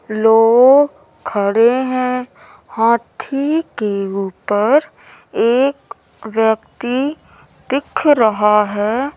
लोग खड़े हैं। हाथी के ऊपर एक व्यक्ति दिख रहा है।